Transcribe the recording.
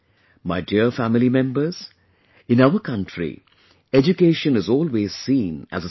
My dear family members, in our country education is always seen as a service